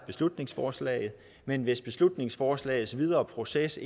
beslutningsforslaget men hvis beslutningsforslagets videre proces